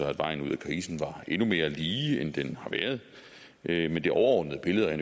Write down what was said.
at vejen ud af krisen var endnu mere lige end den har været men det overordnede billede er